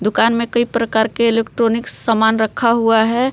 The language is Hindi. दुकान में कई प्रकार के इलेक्ट्रानिक सामान रखा हुआ है।